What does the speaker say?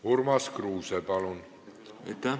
Urmas Kruuse, palun!